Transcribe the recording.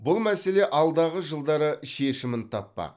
бұл мәселе алдағы жылдары шешімін таппақ